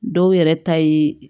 Dɔw yɛrɛ ta ye